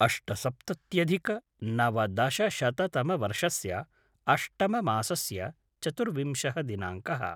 अष्टसप्तत्यधिकनवदशशततमवर्षस्य अष्टममासस्य चतुर्विंशः दिनाङ्कः